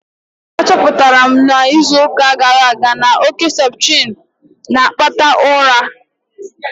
Achọpụtara m n'izu gara aga na oke septrin na-akpata ụra